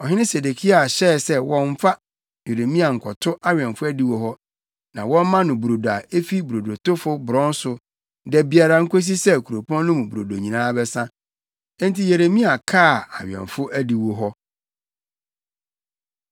Ɔhene Sedekia hyɛɛ sɛ wɔmfa Yeremia nkɔto awɛmfo adiwo hɔ, na wɔmma no brodo a efi brodotofo borɔn so da biara nkosi sɛ kuropɔn no mu brodo nyinaa bɛsa. Enti Yeremia kaa awɛmfo adiwo hɔ.